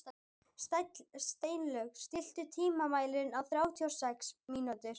Steinlaug, stilltu tímamælinn á þrjátíu og sex mínútur.